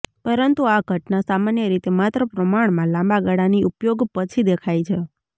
પરંતુ આ ઘટના સામાન્ય રીતે માત્ર પ્રમાણમાં લાંબા ગાળાની ઉપયોગ પછી દેખાય છે